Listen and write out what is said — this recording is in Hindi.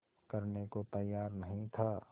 करने को तैयार नहीं था